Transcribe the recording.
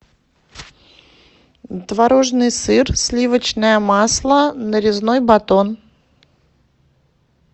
творожный сыр сливочное масло нарезной батон